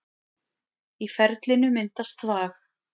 Í ferlinu myndast þvag.